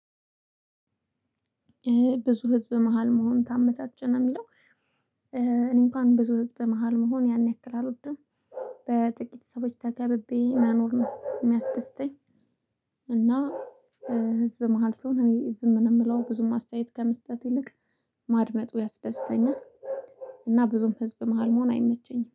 ብዙ ህዝብ መሃል መሆን ታመቻቸ ነው የሚለው እኔ እንኳን ብዙ ህዝብ መሃል መሆን ያን ያክል አልወድም። በጥቂት ሰዎች ተከብቤ መኖር የሚያስደስተኝ። እና ህዝብ መሃል ስሆን እኔ ዝም ነው የምለው ብዙም አስተያየት ከመስጠት ይልቅ ማድመጡ ያስደስተኛል፣ እና ብዙም ህዝብ መሃል መሆን አይመቸኝም።